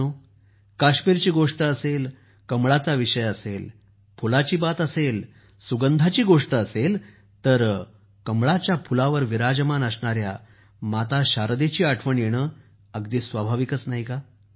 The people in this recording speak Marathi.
मित्रांनो काश्मीरची गोष्ट असेल कमळाचा विषय असेल फुलाची बात असेल सुगंधाची गोष्ट असेल तर कमळाच्या फुलावर विराजमान असणाऱ्या माता शारदेची आठवण येणं अगदी स्वाभाविक आहे